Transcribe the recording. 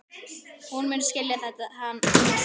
Hún mun skilja hana seinna.